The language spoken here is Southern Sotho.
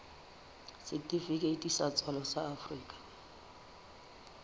setifikeiti sa tswalo sa afrika